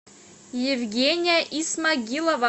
евгения исмагилова